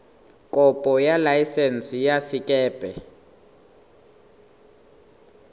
kopo ya laesense ya sekepe